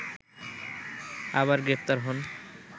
আবার গ্রেপ্তার হন